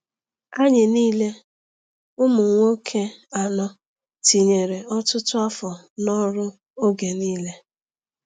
Anyị niile, ụmụ nwoke anọ, tinyere ọtụtụ afọ n’ọrụ oge niile.